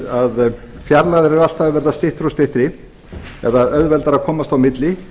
að fjarlægðir eru alltaf að verða styttri eða auðveldara að komast á milli